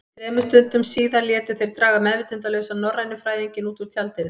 Þremur stundum síðar létu þeir draga meðvitundarlausan norrænufræðinginn út úr tjaldinu.